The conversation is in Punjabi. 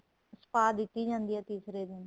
spa ਦਿੱਤੀ ਜਾਂਦੀ ਏ ਤੀਸਰੇ ਦਿਨ